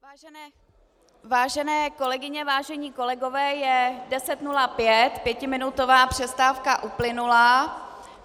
Vážené kolegyně, vážení kolegové, je 10.05, pětiminutová přestávka uplynula.